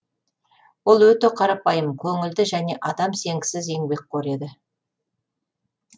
ол өте қарапайым көңілді және адам сенгісіз еңбекқор еді